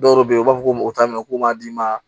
Dɔw be yen u b'a fɔ ko mɔgɔ t'a minɛ k'u m'a d'i ma